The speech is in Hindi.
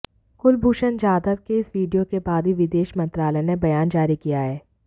कुलभूषण जाधव के इस वीडियो के बाद ही विदेश मंत्रालय ने बयान जारी किया है